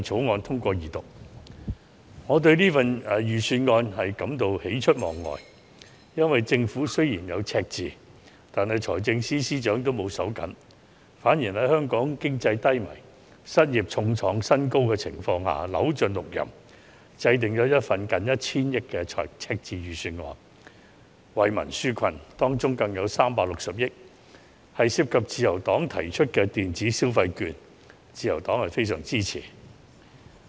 我對本年度的財政預算案感到喜出望外，因為政府雖然面對赤字，但財政司司長沒有因此而"手緊"，反而在香港經濟低迷、失業率創新高的情況下扭盡六壬，制訂了一份近 1,000 億元赤字的預算案，為民紓困，當中有360億元更涉及自由黨提出的電子消費券建議，自由黨非常支持。